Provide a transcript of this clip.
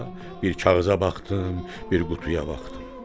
bir kağıza baxdım, bir qutuya baxdım.